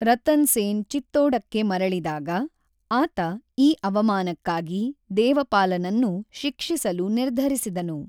ರತನ್ ಸೇನ್ ಚಿತ್ತೋಡಕ್ಕೆ ಮರಳಿದಾಗ, ಆತ ಈ ಅವಮಾನಕ್ಕಾಗಿ ದೇವಪಾಲನನ್ನು ಶಿಕ್ಷಿಸಲು ನಿರ್ಧರಿಸಿದನು.